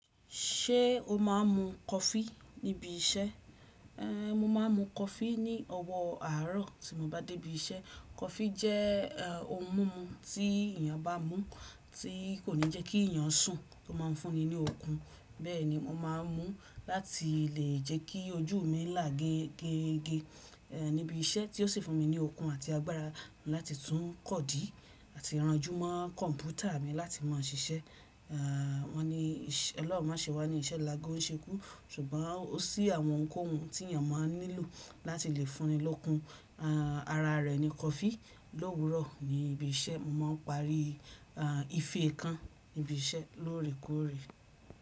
Ṣé o máa ń mu coffee níbi iṣẹ́? Ehn, mo máa ń mu coffee ní ọwọ́ àárọ̀ tí mo bá dé ibi iṣẹ́. Coffee jẹ́ eh ohún mímú tí èèyàn bá mú tí kò ní jẹ́kí èèyàn sùn, ó ma ń fún ni ní okun. Bẹ́ẹ̀ni mo máa ń mú láti lè jẹ́kí ojú mi là ge ge ge eh níbi iṣẹ́ tí ó sì fún mi ní okun àti agbára láti tún kọ̀dí àti ìranjúmọ́ kọ̀mpútà mi láti mọ ṣiṣẹ́. Ah, wọ́n ní ọlọhun má ṣe wá ní iṣẹ́ lagó ń ṣekú ṣùgbọ́n ó ṣí àwọn kohun tí èèyàn máa ń nílò láti lè fún ni lókun. Ah ara rẹ̀ ni coffee lówurọ̀ ní ibi iṣẹ́. Mo máa ń parí ah ife kan níbi iṣẹ́ lóòrèkóòrè.